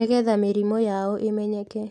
Nĩgetha mĩrimũ yao ĩmenyeke